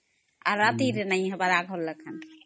ଆଉ ରାତିରେ ନାଇଁ ହବାର ଆଗର ଲେଖା